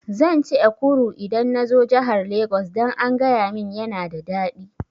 Zan ci Ekuru idan nazo jahar Lagos, dan an gayamin yana da daɗi